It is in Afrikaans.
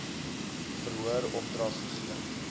verhoor opdrag gegee